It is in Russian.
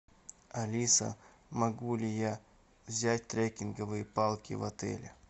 алиса могу ли я взять трекинговые палки в отеле